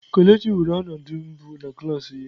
Kelechi weere ọnọdụ mbụ na klas ya.